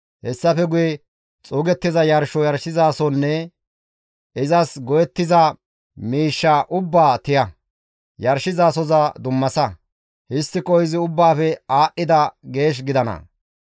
Hessafe guye xuugettiza yarsho yarshizasonne izas go7ettiza miishshaa ubbaa tiya; yarshizasoza dummasa; histtiko izi ubbaafe aadhdhida geesh gidana.